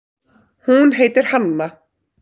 Hún heitir Hanna.